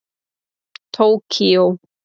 Tókíó